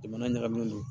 Jamana ɲagaminen don